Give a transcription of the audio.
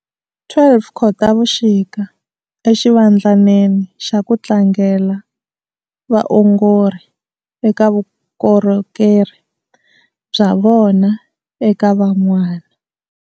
12 Khotavuxika, i xivandlanene xa ku tlangela vaongori eka vukorhokeri bya vona eka van'wana.